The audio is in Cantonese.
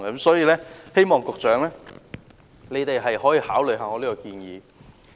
所以，希望局長可以考慮我的建議。